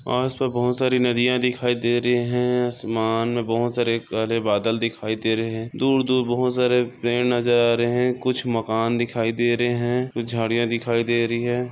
आसपास बहुत सारी नदिया दिखाई दे रहा है आसमान मे बहुत सारे काले बादल दिखाई दे रहे है। दूर-दूर बहुत सारे पेड नजर आ रहे है कुछ मकान दिखाई दे रहे है कुछ झड़िया दिखाई दे रही है।